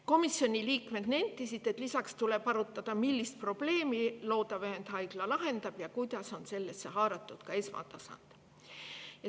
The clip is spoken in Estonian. Komisjoni liikmed nentisid, et lisaks tuleb arutada, millist probleemi loodav ühendhaigla lahendab ja kuidas on sellesse haaratud esmatasand.